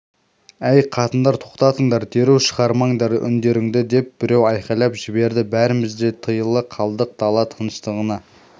әй қатындар тоқтатыңдар дереу шығармаңдар үндеріңді деп біреу айқайлап жіберді бәріміз де тыйыла қалдық дала тыныштығына